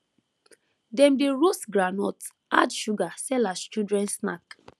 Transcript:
dem dey roast groundnut add sugar sell as children snack